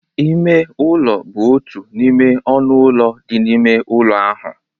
Ime ụlọ bụ otu n'ime ọnụ ụlọ dị n'ime ụlọ ahụ